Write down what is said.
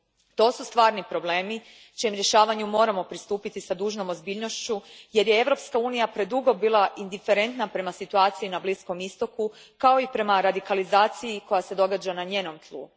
To su stvarni problemi čijem rješavanju moramo pristupiti s dužnom ozbiljnošću jer je Europska unija predugo bila indiferentna prema situaciji na Bliskom Istoku, kao i prema radikalizaciji koja se događa na njenom tlu.